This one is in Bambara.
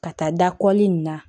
Ka taa dakɔli in na